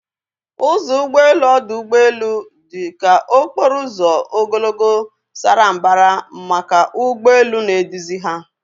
Ụzọ ụgbọ elu ọdụ ụgbọ elu dị ka okporo ụzọ ogologo, sara mbara maka ụgbọ elu na-eduzi ha